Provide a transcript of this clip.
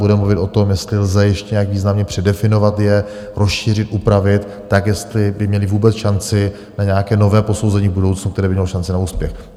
Bude mluvit o tom, jestli lze ještě nějak významně předefinovat je, rozšířit, upravit tak, jestli by měla vůbec šanci na nějaké nové posouzení v budoucnu, která by měla šanci na úspěch.